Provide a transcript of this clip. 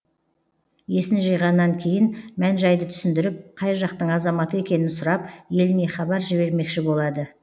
есін жиғаннан кейін мән жайды түсіндіріп қай жақтың азаматы екенін сұрап еліне хабар жібермекші болады